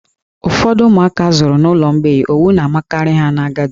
Ụfọdụ ụmụaka a zụrụ n'ụlọ mgbei, owu na-amakarị ha n'agadi.